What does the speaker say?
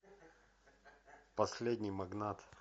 последний магнат